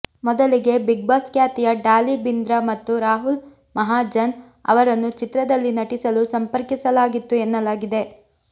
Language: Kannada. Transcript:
ಮೊದಲಿಗೆ ಬಿಗ್ಬಾಸ್ ಖ್ಯಾತಿಯ ಡಾಲಿ ಭಿಂದ್ರಾ ಮತ್ತು ರಾಹುಲ್ ಮಹಾಜನ್ ಅವರನ್ನು ಚಿತ್ರದಲ್ಲಿ ನಟಿಸಲು ಸಂಪರ್ಕಿಸಲಾಗಿತ್ತು ಎನ್ನಲಾಗಿದೆ